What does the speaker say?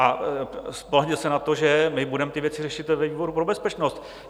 A spolehněte se na to, že my budeme ty věci řešit ve výboru pro bezpečnost.